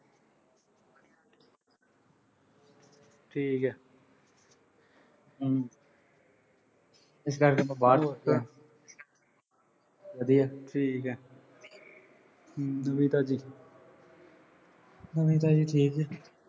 ਠੀਕ ਐ। ਹਮ ਇਸ ਕਰਕੇ ਆਪਾਂ ਬਾਹਰ ਹੀ ਬੈਠੇ ਆਂ ਵਧੀਆ, ਠੀਕ ਐ। ਨਵੀਂ ਤਾਜ਼ੀ। ਨਵੀਂ ਤਾਜ਼ੀ ਠੀਕ ਐ।